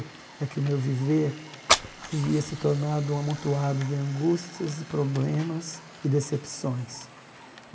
É que o meu viver havia se tornado um amontoado de angústias, de problemas e decepções.